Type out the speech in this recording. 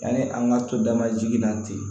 Yanni an ka to dama jiginna ten